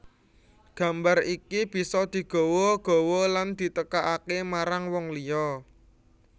Gambar iki bisa digawa gawa lan ditekakaké marang wong liya